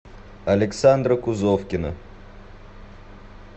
александра кузовкина